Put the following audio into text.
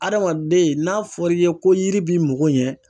Adamaden n'a fɔra i ye ko yiri b'i moko ɲɛ